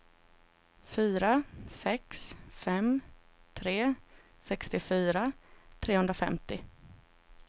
fyra sex fem tre sextiofyra trehundrafemtio